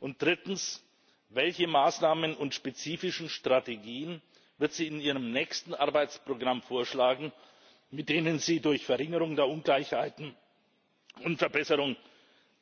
Und drittens Welche Maßnahmen und spezifischen Strategien wird sie in ihrem nächsten Arbeitsprogramm vorschlagen, mit denen sie durch Verringerung der Ungleichheiten und Verbesserung